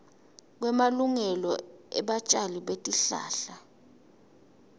kwemalungelo ebatjali betihlahla